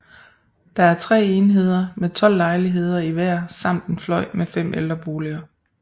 Der er 3 enheder med 12 lejligheder i hver samt en fløj med 5 ældreboliger